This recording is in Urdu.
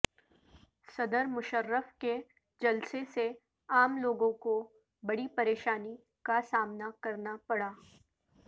صدر مشرف کے جلسہ سے عام لوگوں کو بڑی پریشانی کا سامنا کرنا پڑا